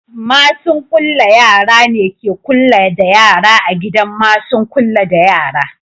Masu'n kulla da yara ne ke kulla da yara a gidan masun kulla da yara.